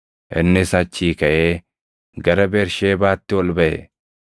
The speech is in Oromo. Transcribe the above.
Innis achii kaʼee gara Bersheebaatti ol baʼe.